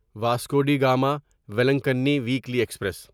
Vasco da Gama Velankanni weekly express